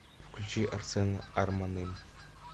включи арсена арманым